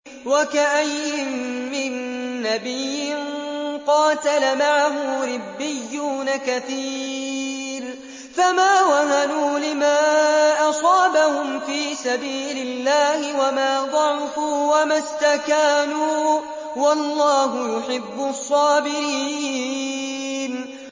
وَكَأَيِّن مِّن نَّبِيٍّ قَاتَلَ مَعَهُ رِبِّيُّونَ كَثِيرٌ فَمَا وَهَنُوا لِمَا أَصَابَهُمْ فِي سَبِيلِ اللَّهِ وَمَا ضَعُفُوا وَمَا اسْتَكَانُوا ۗ وَاللَّهُ يُحِبُّ الصَّابِرِينَ